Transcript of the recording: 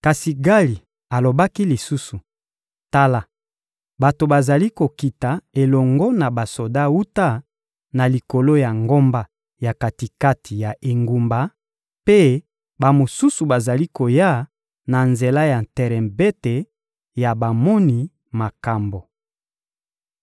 Kasi Gali alobaki lisusu: — Tala, bato bazali kokita elongo na basoda wuta na likolo ya ngomba ya kati-kati ya engumba, mpe bamosusu bazali koya na nzela ya terebente ya bamoni makambo.